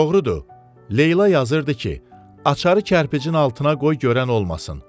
Doğrudur, Leyla yazırdı ki, açarı kərpicin altına qoy görən olmasın.